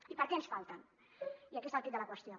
i per què ens falten i aquí està el quid de la qüestió